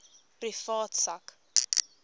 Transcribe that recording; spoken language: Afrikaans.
privaat sak